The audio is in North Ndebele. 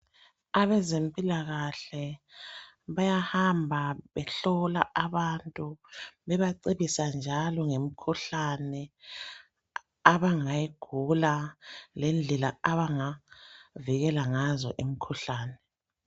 Abezempilakahle bayahamba behlola abantu bebacebisa njalo ngemikhuhlane abangayigula lendlela abangavikela ngazo imikhuhlane.